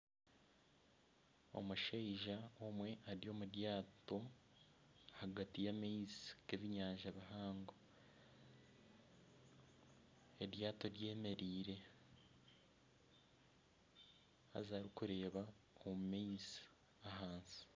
Omushaija omwe ari omu ryato ahagati y'amaizi g'enyanja mpango eryaato ry'emereire haza birikureeba omu maizi ahansi.